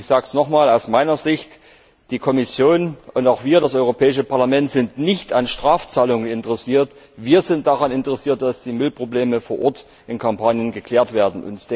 Ich sage es noch einmal aus meiner Sicht Die Kommission und auch wir, das Europäische Parlament, sind nicht an Strafzahlungen interessiert. Wir sind daran interessiert, dass die Müllprobleme vor Ort in Kampanien geklärt werden.